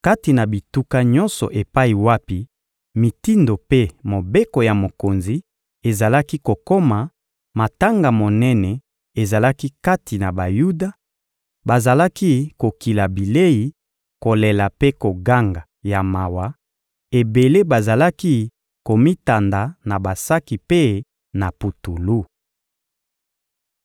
Kati na bituka nyonso epai wapi mitindo mpe mobeko ya mokonzi ezalaki kokoma, matanga monene ezalaki kati na Bayuda: bazalaki kokila bilei, kolela mpe koganga ya mawa; ebele bazalaki komitanda na basaki mpe na putulu.